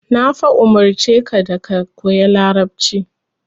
Na fa umurce ka da ka koyi Larabci.